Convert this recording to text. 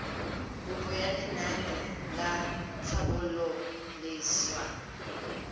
kopo ya lenaane la tlhabololosewa